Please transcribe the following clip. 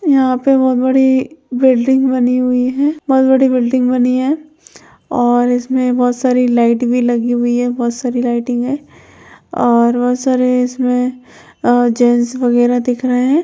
यहां पर बहुत बड़ी बिल्डिंग बनी हुई है बहुत बड़ी बिल्डिंग बनी है और इसमें बहुत सारी लाईट भी लगी हुई है बहुत सारी लाइटिंग है और बहुत सारे इसमें अ जेन्स वगेरह दिख रहे है।